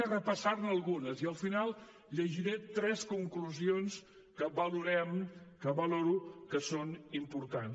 en repassaré algunes i al final llegiré tres conclusions que valorem que valoro que són importants